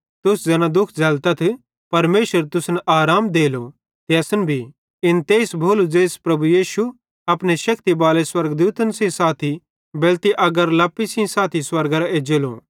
तुस ज़ैना दुःख झ़ैलतथ परमेशर तुसन आराम देलो ते असन भी इन तेइस भोलू ज़ेइस प्रभु यीशु अपने शेक्ति बाले स्वर्गदूतन सेइं साथी बेलति अगारे लप्पी सेइं साथी स्वर्गेरां एज्जेलो